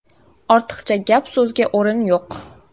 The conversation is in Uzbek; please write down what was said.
Ortiqcha gap-so‘zga o‘rin yo‘q.